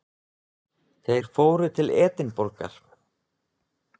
Þeir fóru til Edinborgar.